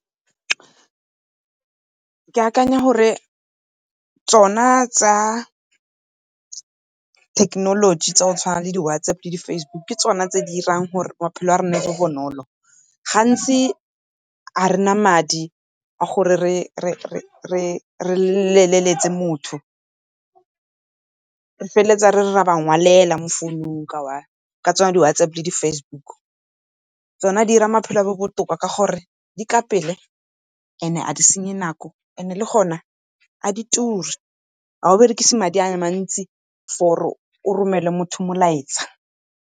Ke akanya gore tsona tsa thekenoloji tsa go tshwana le di-WhatsApp le di-Facebook ke tsone tse di dirang gore maphelo a rona a nne bonolo. Gantsi ga rena madi gore re leletse motho re feleletsa re re ra ba ngwalela mo founung ka tsone di-WhatsApp le di-Facebook. Tsone di dira maphelo a nne botoka ka gore di ka pele and ga di senye nako and le gona ga di turi, ga o berekise madi a mantsi for gore o romele motho molaetsa.